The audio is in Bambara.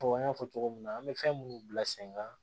an y'a fɔ cogo min na an bɛ fɛn minnu bila sen kan